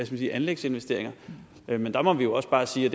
sige anlægsinvesteringer men der må vi jo også bare sige